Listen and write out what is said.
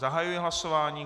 Zahajuji hlasování.